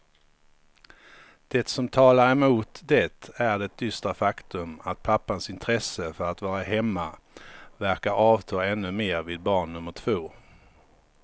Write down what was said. Det som talar emot det är det dystra faktum att pappans intresse för att vara hemma verkar avta ännu mer vid barn nummer två.